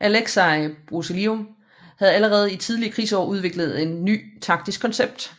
Aleksej Brusilov havde allerede i de tidlige krigsår udviklet et nyt taktisk koncept